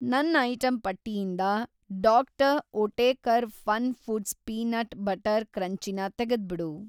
ನನ್‌ ಐಟಂ ಪಟ್ಟಿಯಿಂದ Dr. Oetker FunFoods peanut butter ಕ್ರಂಚಿನ ತೆಗೆದ್ಬಿಡು.